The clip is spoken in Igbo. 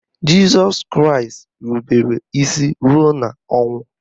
Jịsọs Kraịst irubere isi ruo n'ọnwụ